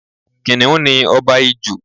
Kiniun ni ọba ijù